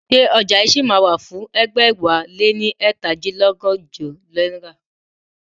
Ṣé ọjà yìí ṣì máa wà fún ẹgbẹ̀wáléní ẹ̀ta dín lọ́gọ́jọ náírà?